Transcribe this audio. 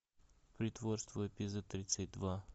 притворство эпизод тридцать два